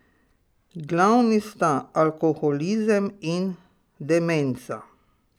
Glavni sta alkoholizem in demenca.